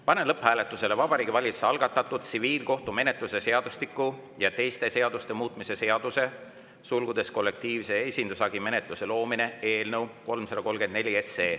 Panen lõpphääletusele Vabariigi Valitsuse algatatud tsiviilkohtumenetluse seadustiku ja teiste seaduste muutmise seaduse eelnõu 334.